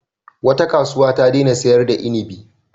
Wata kasuwa ta daina sayar da inibi.